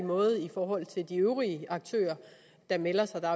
måde i forhold til de øvrige aktører der melder sig der